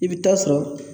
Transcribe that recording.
I bɛ taa sɔrɔ